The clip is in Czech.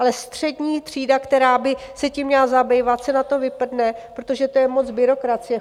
Ale střední třída, která by se tím měla zabývat, se na to vyprdne, protože to je moc byrokracie.